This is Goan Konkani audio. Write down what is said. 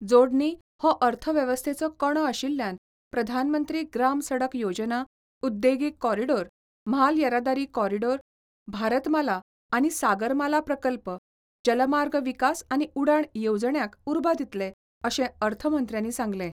जोडणी हो अर्थव्यवस्थेचो कणो आशिल्ल्यान प्रधानमंत्री ग्राम सडक योजना, उद्देगीक कॉरीडॉर, म्हाल येरादारी कॉरीडॉर, भारतमाला आनी सागरमाला प्रकल्प, जलमार्ग विकास आनी उडाण येवजण्यांक उर्बा दितले, अशें अर्थमंत्र्यानी सांगलें.